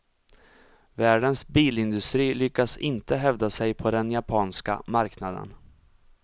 Världens bilindustri lyckas inte hävda sig på den japanska marknaden.